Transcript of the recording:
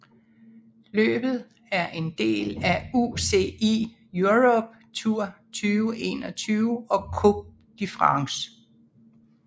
Løbet er en del af UCI Europe Tour 2021 og Coupe de France